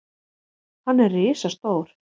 Hann er risastór.